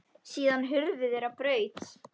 Síðan hurfu þeir á braut.